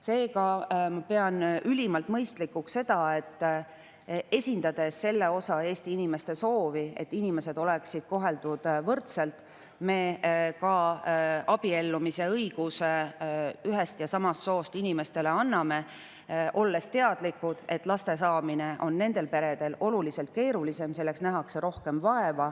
Seega pean ülimalt mõistlikuks seda, et esindades selle osa Eesti inimeste soovi, et inimesed oleksid koheldud võrdselt, me ka abiellumise õiguse ühest ja samast soost inimestele anname, olles teadlikud, et last saada on nendel peredel oluliselt keerulisem, selleks nähakse rohkem vaeva.